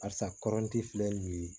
Arisa kɔrɔnti filɛ nin ye